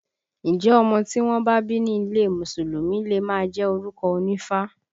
Ǹjẹ́ ọmọ tí wọ́n bá bí ní ilé Mùsùlùmí le máa jẹ́ orúkọ onífá?